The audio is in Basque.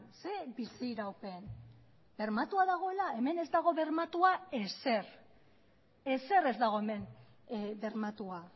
ze biziraupen bermatua dagoela hemen ez dago bermatua ezer ezer ez dago hemen bermatua